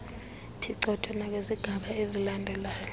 phicotho nakwizigaba ezilandelayo